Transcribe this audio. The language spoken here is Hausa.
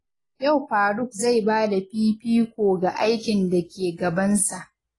Yau Faruq zai ba da fifiko ga aikin da ke gabansa.